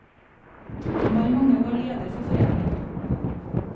Han var i mange år leder for foreningen.